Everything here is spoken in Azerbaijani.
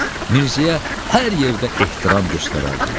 Mirzəyə hər yerdə ehtiram göstərərdilər.